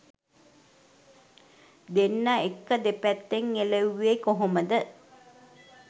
දෙන්න එක්ක දෙපැත්තෙන් එළෙව්වෙ කොහොමද?